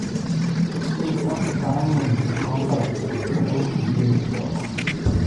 mito sang'in fikombaik tugul akuki yesio